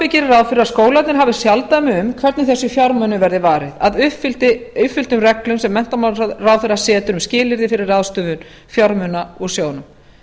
gerir ráð fyrir að skólarnir hafi sjálfdæmi um hvernig þessum fjármunum verði varið að uppfylltum reglum sem menntamálaráðherra setur um skilyrði fyrir ráðstöfun fjármuna úr sjóðnum